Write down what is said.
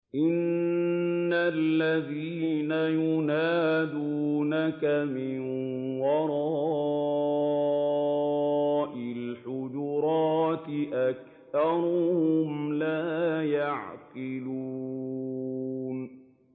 إِنَّ الَّذِينَ يُنَادُونَكَ مِن وَرَاءِ الْحُجُرَاتِ أَكْثَرُهُمْ لَا يَعْقِلُونَ